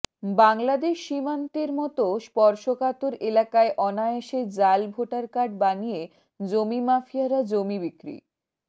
বাংলাদেশ সীমান্তের মতো স্পর্শকাতর এলাকায় অনায়াসে জাল ভোটার কার্ড বানিয়ে জমি মাফিয়ারা জমি বিক্রি